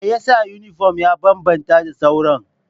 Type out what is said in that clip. Me yasa yunifom ya bambanta da sauran?